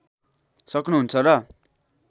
सक्नु हुन्छ र